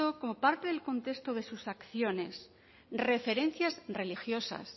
como parte del contexto de sus acciones referencias religiosas